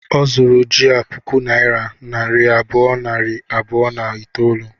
Ọ zuru ji a puku naira nari abụọ, nari abụọ na itoolu